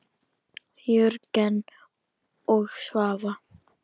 Jörgen og Svava.